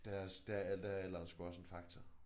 Der er der der er alderen sgu også en faktor